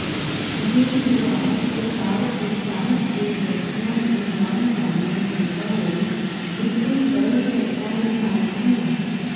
ਗੁਰਦੁਆਰਾ ਕਰਤਾਰਪੁਰ ਸਾਹਿਬ ਦੇ ਦਰਸ਼ਨਾਂ ਨੂੰ ਜਾਣ ਵਾਲੀਆਂ ਸੰਗਤਾਂ ਲਈ ਬਿਲਕੁਲ ਸਰਲ ਸ਼ਰਤਾਂ ਨਿਰਧਾਰਿਤ ਹੋਣ